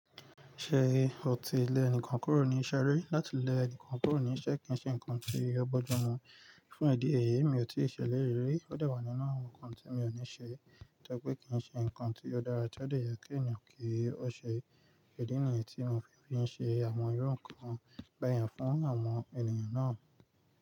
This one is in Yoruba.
Ṣé o ti lé ẹnikan kúrò ní iṣẹ́ rí? Láti lé ẹnikan kúrò ní iṣẹ́ kìí ṣe ǹkan tí ó bójumu, fún eda èyí èmi ò tíì ṣe lè rí, ó dewa nínú àwọn ǹkan tí èmi ò ní ṣe, nítorí pé kìí ṣe ǹkan tí ó dára tí ó dẹ̀ yẹ kí ẹni yàn kìí ó ṣe, ìdí nìyí tí mi fi fi ṣe àwọn irú ǹkan báyẹn fún àwọn ènìyàn náà.